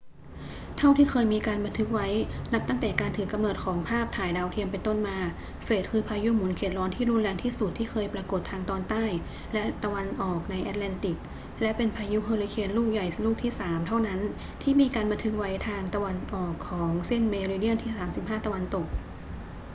เท่าที่เคยมีการบันทึกไว้ นับตั้งแต่การถือกำเนิดของภาพถ่ายดาวเทียมเป็นต้นมา เฟรดคือพายุหมุนเขตร้อนที่รุนแรงที่สุดที่เคยปรากฏทางตอนใต้และตะวันออกในแอตแลนติก และเป็นพายุเฮอริเคนลูกใหญ่ลูกที่สามเท่านั้นที่มีการบันทึกไว้ทางตะวันออกของเส้นเมริเดียนที่ 35° ตะวันตก